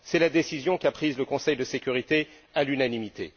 C'est la décision qu'a prise le Conseil de sécurité à l'unanimité.